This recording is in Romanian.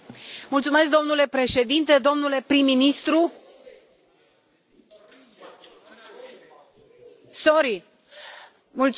Domnule președinte, domnule prim ministru sorry Mulțumesc.